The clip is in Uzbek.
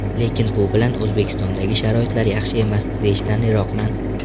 Lekin bu bilan O‘zbekistondagi sharoitlar yaxshi emas, deyishdan yiroqman.